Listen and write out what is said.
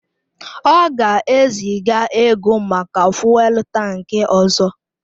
Ọ ga-eziga ego maka fụ́élú tankị ọzọ.